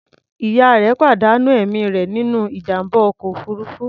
Ìyá rẹ̀ pàdánù ẹ̀mí rẹ̀ nínú ìjàm̀bá ọkọ̀ òfuruufú.